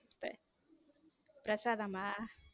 பிரசாதம்மா.